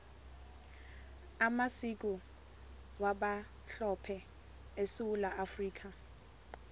amasiko wabamhlophe esewula afrikha